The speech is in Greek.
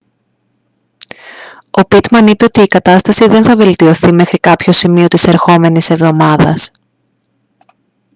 ο πίτμαν είπε ότι η κατάσταση δεν θα βελτιωθεί μέχρι κάποιο σημείο της ερχόμενης εβδομάδας